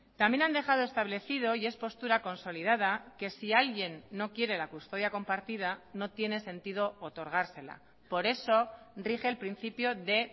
también han dejado establecido y es postura consolidada que si alguien no quiere la custodia compartida no tiene sentido otorgársela por eso rige el principio de